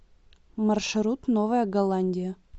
маршрут новая голландия